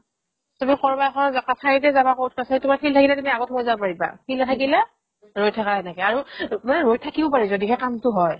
তুমি ক'ৰবাৰ এখনত ক কাছাৰীতে যাবা court কাছাৰীত তোমাৰ field থাকিলে তুমি আগত সোমাই যাব পাৰিবা field নাথাকিলে ৰৈ থাকা এনেকৈ আৰু মানে ৰৈ থাকিব পাৰি যদিহে কামতো হয়